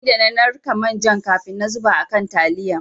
Sai da na narka manjan kafin na zuba a kan taliyan.